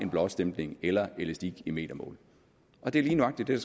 blåstempling eller elastik i metermål og det er lige nøjagtig det